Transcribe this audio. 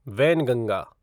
Wainganga